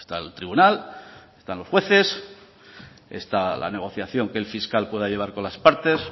el tribunal están los jueces está la negociación que el fiscal pueda llevar con las partes